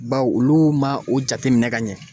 Bawo olu ma o jateminɛ ka ɲɛ.